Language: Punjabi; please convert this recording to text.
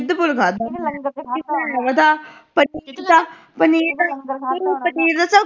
ਸਿਦਪੁਰ ਖਾਦਾਂ